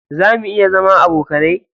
Zamu iya zama abokanai?